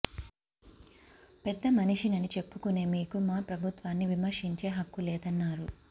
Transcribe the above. పెద్ద మనిషినని చెప్పుకునే మీకు మా ప్రభుత్వాన్ని విమర్శించే హక్కులేదన్నారు